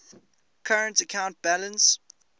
current account balance